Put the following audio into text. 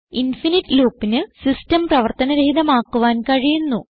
infinite loopന് system പ്രവർത്തന രഹിതമാക്കുവാൻ കഴിയുന്നു